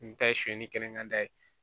N ta ye sonyali kelen ka da ye